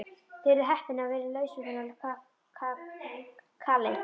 Þið eruð heppin að vera laus við þann kaleik.